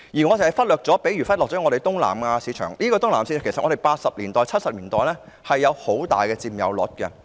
我們忽略了東南亞市場，但東南亞市場在七八十年代的市場佔有率其實很大。